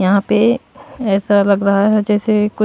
यहां पे ऐसा लग रहा है जैसे कुछ--